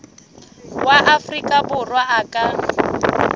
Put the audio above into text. wa afrika borwa a ka